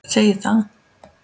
segir að